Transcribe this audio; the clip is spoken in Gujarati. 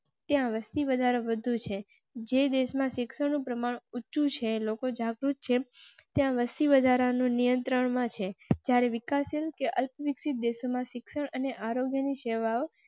ત્યાં વસ્તીવધારો બધું છે જે દેશ માં શિક્ષણ નું પ્રમાણ ઓછું છે. લોકો જાગૃત છે ત્યાં વસ્તી વધારા નો નિયંત્રણ માં છે. જ્યારે વિકાસ શીલ અને અલ્પવિકસિત દેશો માં શિક્ષણ અને આરોગ્ય ની સેવા